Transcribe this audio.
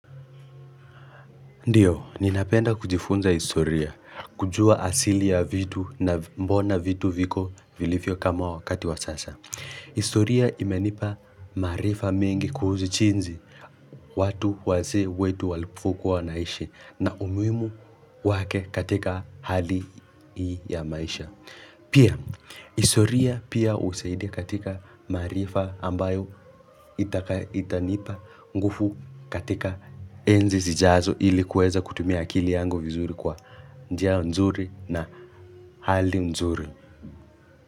Ndiyo, ninapenda kujifunza historia, kujua asili ya vitu na mbona vitu viko vilivyo kama wakati wa sasa. Historia imenipa maarifa mengi kuhusu jinsi watu wazee wetu walivokuwa wanaishi na umuhimu wake katika hali ya maisha. Pia, historia pia husaidia katika maarifa ambayo itanipa nguvu katika enzi zijazo ili kuweza kutumia akili yangu vizuri kwa njia nzuri na hali mzuri.